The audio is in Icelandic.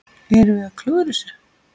Erum við að klúðra þessu?